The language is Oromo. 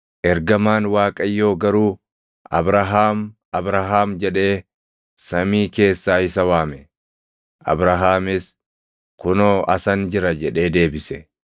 Ergamaan Waaqayyoo garuu, “Abrahaam! Abrahaam!” jedhee samii keessaa isa waame. Abrahaamis, “Kunoo asan jira” jedhee deebise.